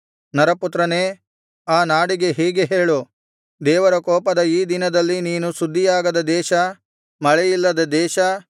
ನರಪುತ್ರನೇ ಆ ನಾಡಿಗೆ ಹೀಗೆ ಹೇಳು ದೇವರ ಕೋಪದ ಈ ದಿನದಲ್ಲಿ ನೀನು ಶುದ್ಧಿಯಾಗದ ದೇಶ ಮಳೆಯಿಲ್ಲದ ದೇಶ